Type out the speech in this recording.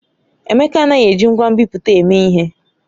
Emeka anaghị eji ngwa nbipute eme ihe.